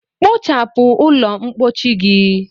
Kpochapu ụlọ mpochi gi!